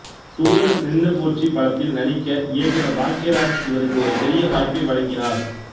தூறல் நின்னு போச்சு படத்தில் நடிக்க இயக்குனர் பாக்யராஜ் இவருக்கு ஒரு பெரிய வாய்ப்பை வழங்கினார்